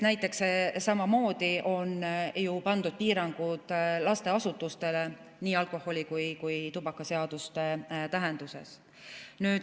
Samamoodi on ju pandud piirangud lasteasutustele nii alkoholiseaduse kui ka tubakaseaduse tähenduses.